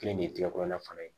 Kelen de ye tigɛ kɔnɔna fana ye